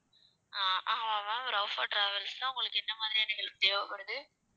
ஆஹ் ஆமா ma'am travels தான், உங்களுக்கு என்ன மாதிரியான help தேவைப்படுது